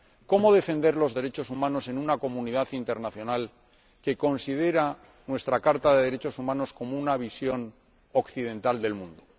¿Cómo defender los derechos humanos en una comunidad internacional que considera nuestra Carta de Derechos Humanos como una visión occidental del mundo?